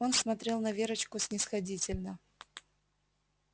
он смотрел на верочку снисходительно